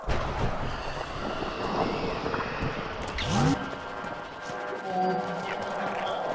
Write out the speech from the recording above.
ഓ ആഹ് ആഹ് ആഹ്